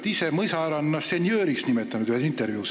Te olete ise mõisahärrana ennast ühes intervjuus senjööriks nimetanud.